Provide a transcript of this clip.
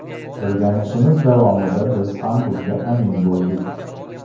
O‘rganishimiz davomida biz ham bunga amin bo‘ldik.